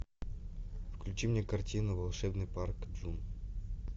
включи мне картину волшебный парк джун